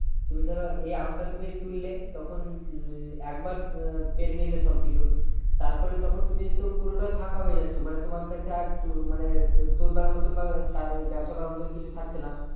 তুমি ধরো এই আমটা তুমি তুললে তখন উহ একবার উহ পেরে নিলে সবকিছু তারপরে তখন তুমি পুরোটা ফাঁকা হয়ে যাচ্ছ মানে তোমার কাছে আর তো মানে তোলবার মতন বা চা ব্যবসা করার মতো কিছু থাকছে না